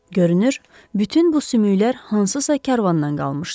Görünür, bütün bu sümüklər hansısa karvandan qalmışdı.